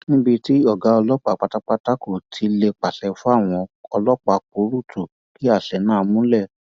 níbi tí ọgá ọlọpàá pátápátá kò ti lè pàṣẹ fáwọn ọlọpàá púrúǹtù ki àṣẹ náà múlẹ